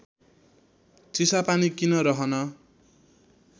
चिसापानी किन रहन